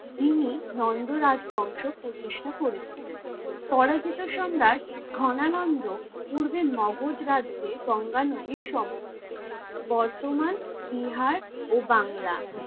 তিনি নন্দ রাজ্ বংশ প্রতিষ্ঠা করেছিলেন। পরাজিত সম্রাট ঘনানন্দ পূর্বে ম্গধ রাজ্যে গঙ্গা নদী সমুখ বর্তমান বিহার ও বাংলা,